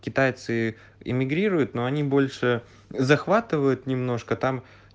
китайцы эмигрируют но они больше захватывают немножко там